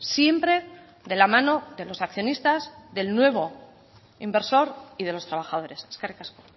siempre de la mano de los accionistas del nuevo inversor y de los trabajadores eskerrik asko